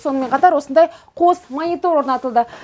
сонымен қатар осындай қос монитор орнатылды